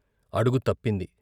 అడుగు తప్పింది.